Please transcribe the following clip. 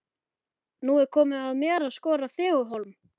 Er nú komið að mér að skora þig á hólm?